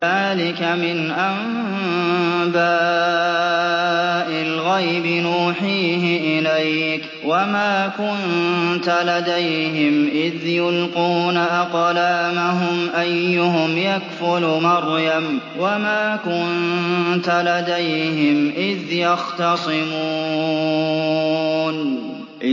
ذَٰلِكَ مِنْ أَنبَاءِ الْغَيْبِ نُوحِيهِ إِلَيْكَ ۚ وَمَا كُنتَ لَدَيْهِمْ إِذْ يُلْقُونَ أَقْلَامَهُمْ أَيُّهُمْ يَكْفُلُ مَرْيَمَ وَمَا كُنتَ لَدَيْهِمْ إِذْ يَخْتَصِمُونَ